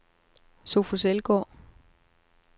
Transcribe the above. Sofus Elgaard